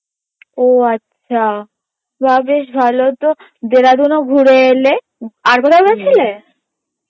ও আচ্ছা বা বেশ ভালো তো দেরাদুনও ঘুরে এলে আর কোথাও গেছিলে?